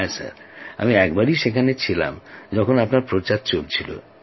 হ্যাঁ মহাশয় আমি একবার সেখানেই ছিলাম যখন আপনার প্রচার চলছিল